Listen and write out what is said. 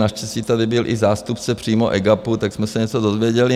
Naštěstí tady byl i zástupce přímo EGAPu, tak jsme se něco dozvěděli.